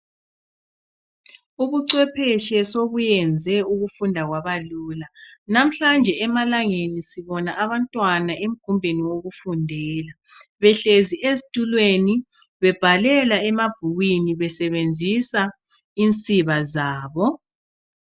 Ubucwepheshe sobenze ukufunda kwabalula, namhlanje emalangeni sibona abantwana emgumbeni wokufundela, behlezi ezitulweni, bebhalela emabhukwini besebenzisa insiba zabo